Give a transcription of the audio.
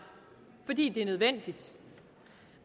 fordi det er nødvendigt